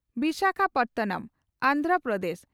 Visakhapatnam,. Andhra Pradesh.